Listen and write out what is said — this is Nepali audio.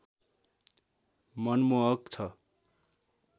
मनमोहक छ